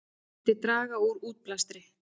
Myndi draga úr útblæstri